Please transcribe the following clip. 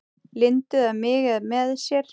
Lindu eða mig með sér.